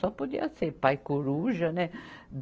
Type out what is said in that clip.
Só podia ser pai coruja, né?